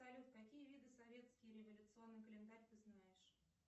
салют какие виды советский революционный календарь ты знаешь